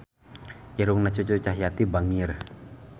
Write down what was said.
Irungna Cucu Cahyati bangir